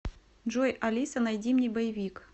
джой алиса найди мне боевик